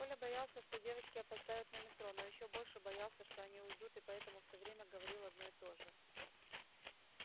коля боялся что девочки опоздают на метро но ещё больше боялся что они уйдут и поэтому всё время говорил одно и то же